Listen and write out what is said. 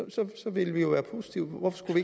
ville vi jo være positive hvorfor skulle